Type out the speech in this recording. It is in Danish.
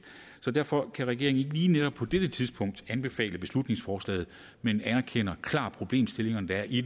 derfor kan regeringen ikke lige netop på dette tidspunkt anbefale beslutningsforslaget men anerkender klart de problemstillinger der er i